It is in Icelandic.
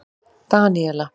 Daníela